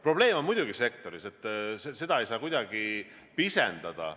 Probleem on sektoris muidugi, seda ei saa kuidagi pisendada.